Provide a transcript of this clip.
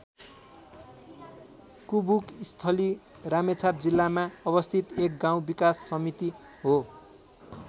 कुबुकस्थली रामेछाप जिल्लामा अवस्थित एक गाउँ विकास समिति हो।